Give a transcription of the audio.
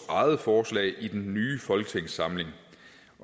eget forslag i den nye folketingssamling